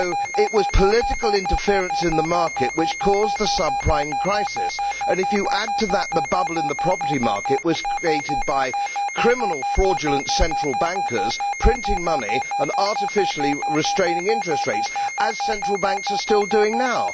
It was political interference in the market which caused the subprime crisis. Add to that the bubble in the property market created by criminal, fraudulent central bankers printing money and artificially restraining interest rates, as central banks are still doing now.